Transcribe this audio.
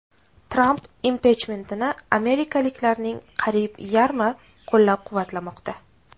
Tramp impichmentini amerikaliklarning qariyb yarmi qo‘llab-quvvatlamoqda.